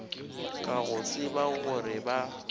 ka go tseba gore ba